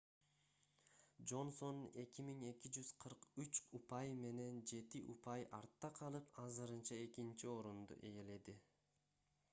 джонсон 2243 упай менен жети упай артта калып азырынча экинчи орунду ээледи